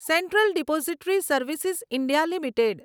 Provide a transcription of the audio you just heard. central depository service India limited